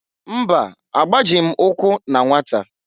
Mba! Agbajịghị m ụkwụ na nwata.